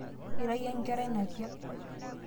ira iyie enkerai napiak